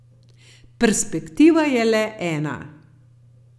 Perspektiva je le ena.